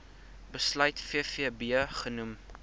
besluit vvb genoem